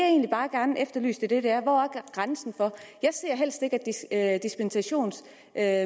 egentlig bare gerne vil efterlyse er hvor grænsen er jeg ser helst ikke at at